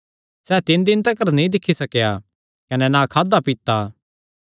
सैह़ तीन दिन तिकर नीं दिक्खी सकेया कने ना खादा ना पीता